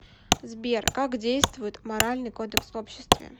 сбер как действует моральный кодекс в обществе